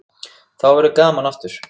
Þá verður gaman aftur.